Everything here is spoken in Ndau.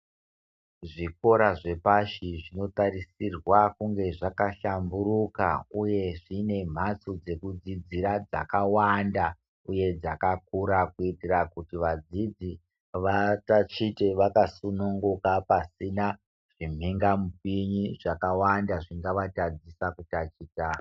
Zvikora zvepashi zvinotarisirwa kunge zvakahlamburuka uye zvine mphatso dzekudzidzira dzakawanda uye dzakakura kuitira kuti vadzidzi vatatiche vakasungunuka pasina zvinhingamupini zvakawanda zvingavatadzisa kutaticha.